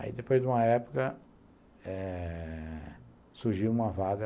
Aí, depois de uma época, eh surgiu uma vaga